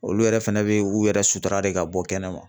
Olu yɛrɛ fɛnɛ bɛ u yɛrɛ sutura de ka bɔ kɛnɛ ma.